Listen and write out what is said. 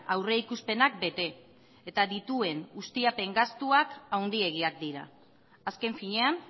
aurrikuspenak bete eta dituen ustiapen gastuak handiegiak dira azken finean